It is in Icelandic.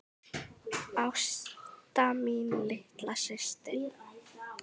Ásta mín, litla systir mín.